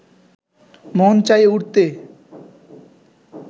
মন চাই উড়তে